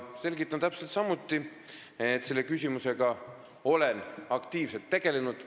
Selgitan täpselt samuti, et olen selle küsimusega aktiivselt tegelenud.